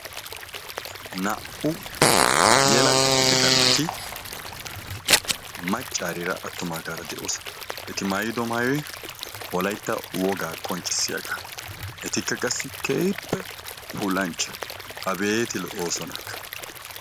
naa"u yelaga giidida naati maccariira attumaagara de"oosona. eti maayido maayoy wolaytta wogaa qonccisiyaaga. etikka qassi keehippe puullancha. abetti lo"oosonaka.